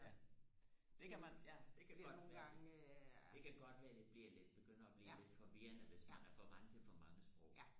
ja det kan man ja det kan godt være det det kan godt være det bliver lidt begynder og blive lidt forvirrende hvis man er for vant til for mange sprog